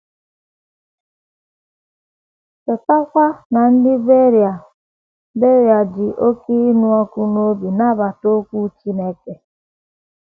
Chetakwa na ndị Beria “ Beria “ ji oké ịnụ ọkụ n’obi nabata okwu Chineke. ”